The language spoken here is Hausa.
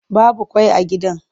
Babu ƙwai a gidan.